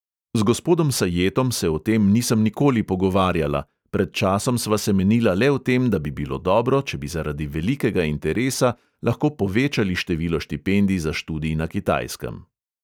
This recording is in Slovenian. Z gospodom sajetom se o tem nisem nikoli pogovarjala, pred časom sva se menila le o tem, da bi bilo dobro, če bi zaradi velikega interesa lahko povečali število štipendij za študij na kitajskem.